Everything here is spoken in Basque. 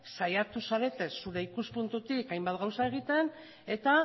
saiatu zarete zure ikuspuntutik hainbat gauza egiten eta